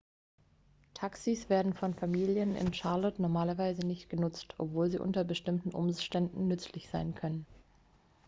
taxis werden von familien in charlotte normalerweise nicht genutzt obwohl sie unter bestimmten umständen nützlich sein können